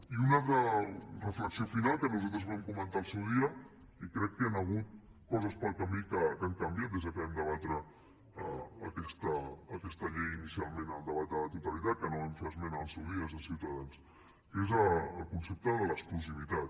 i una altra reflexió final que nosaltres ho vam comentar al seu dia i crec que hi han hagut coses pel camí que han canviat des que vam debatre aquesta llei inicialment en el debat de la totalitat que no hi vam fer esmena al seu dia des de ciutadans que és el concepte de l’exclusivitat